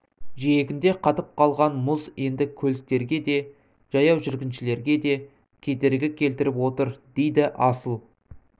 жиегінде қатып қалған мұз енді көліктерге де жаяу жүргіншілерге де кедергі келтіріп отыр дейді асыл